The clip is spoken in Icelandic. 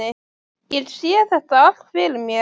Ég sé þetta allt fyrir mér.